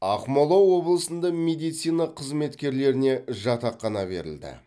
ақмола облысында медицина қызметкерлеріне жатақхана берілді